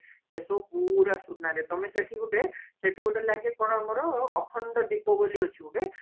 ସେ ସବୁ ପୁରା ସୁନରେ ତମେ ସେଠି ଗୋଟେ ଲାଗେ ସେଠି ଗୋଟେ ଲାଗେ କଣ ଆମର ଅଖଣ୍ଡ ଦୀପ ବୋଲି ଅଛି ଗୋଟେ ଆମର